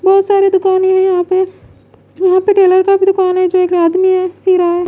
बहोत सारे दुकान हैं यहां पे यहां पे टेलर का भी दुकान है जो एक आदमी है सी रहा है।